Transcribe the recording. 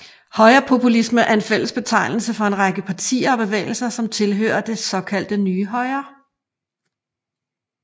Højrepopulisme er en fælles betegnelse for en række partier og bevægelser som tilhører det såkaldte nye højre